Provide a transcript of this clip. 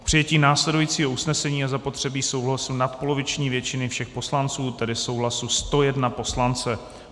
K přijetí následujícího usnesení je zapotřebí souhlasu nadpoloviční většiny všech poslanců, tedy souhlasu 101 poslance.